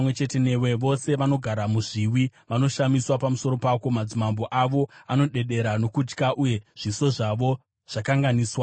Vose vanogara mumahombekombe vanoshamiswa newe; madzimambo avo anodedera nokutya, uye zviso zvavo zvakanganiswa nokutyiswa.